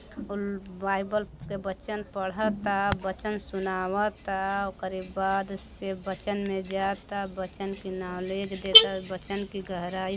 Bible के बचन पढ़ता वचन सुनावता ओकरे बाद से बचन में जाता बचन की नालिज देत हा बचन की गहराई--